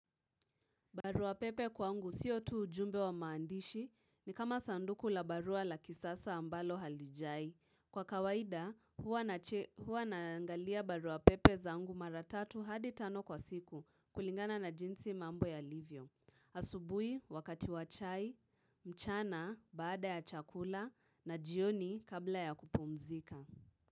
Barua pepe kwangu sio tu ujumbe wa maandishi ni kama sanduku la barua la kisasa ambalo halijai. Kwa kawaida huwa naangalia barua pepe zangu mara tatu hadi tano kwa siku kulingana na jinsi mambo yalivyo. Asubuhi wakati wa chai, mchana baada ya chakula na jioni kabla ya kupumzika.